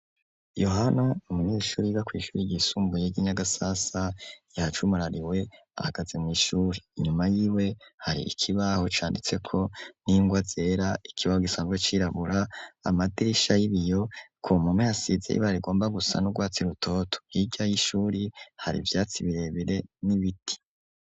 Yohana n'umunyeshuri bakwishyura ryisumbuye ry'Inyagasasa , yajumurariwe ahagaze mw'ishuri. Inyuma yiwe hari ikibaho canditseko n'ingwa zera ikibaho gisanzwe cirabura, amadirisha y'ibiyo ku mpome hasize yibara igomba gusa n'urwatsi rutoto. Hirya y'ishuri hari ivyatsi birebire n'ibiti.